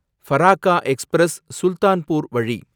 Farakka express ,Sultanpur வழி